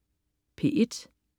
P1: